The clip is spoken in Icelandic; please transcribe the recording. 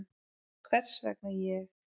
Hvers vegna ég?